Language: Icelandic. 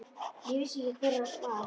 Ég vissi ekki hver hann var.